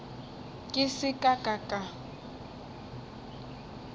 ke se ka ka ka